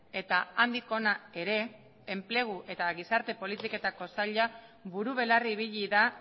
eta handik hona ere enplegu eta gizarte politiketako sailak buru belarri ibili da